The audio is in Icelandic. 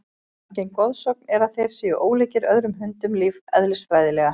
Algeng goðsögn er að þeir séu ólíkir öðrum hundum lífeðlisfræðilega.